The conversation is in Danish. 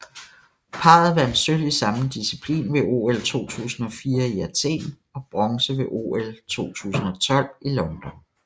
Parret vandt sølv i samme disciplin ved OL 2004 i Athen og bronze ved OL 2012 i London